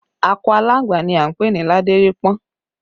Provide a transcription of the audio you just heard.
Akọ aláǹgbá ni a ń pè ní ládérípọ́n